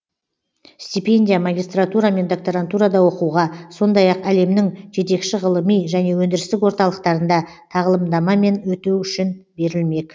стипендия магистратура мен докторантурада оқуға сондай ақ әлемнің жетекші ғылыми және өндірістік орталықтарында тағылымдамамен өту үшін берілмек